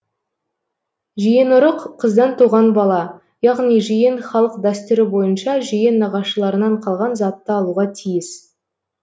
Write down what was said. жиенұрық қыздан туған бала яғни жиен халық дәстүрі бойынша жиен нағашыларынан қалған затты алуға тиіс